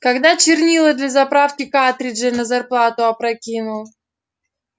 когда чернила для заправки картриджей на зарплату опрокинул